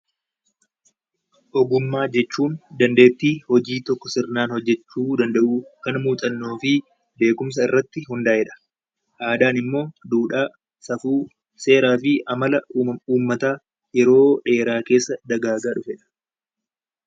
Ogummaa jechuun dandeettii hojii tokko sirnaan hojjechuu danda'uu kan muuxannoo fi beekumsa irratti hundaa'ee dha. Aadaan immoo duudhaa, safuu, seeraa fi amala ummataa yeroo dheeraa keessa dagaagaa dhufe dha.